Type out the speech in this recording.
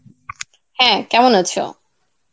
হ্যাঁ, কেমন আছো?